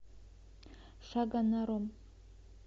шагонаром